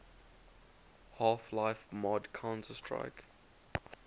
half life mod counter strike